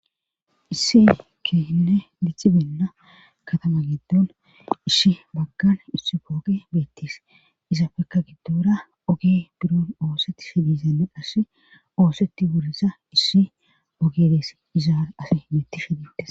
isse kehinne dicci beenda katama gedon ishi bagkan issi pooke beettiis izafeka giddora oge biron oosetti shidizanne qasse ooseti burisa issi ogedeess izaar afe mitti shidiites